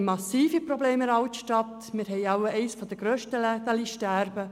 Wir haben in der Altstadt massive Probleme mit dem Ladensterben.